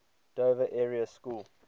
dover area school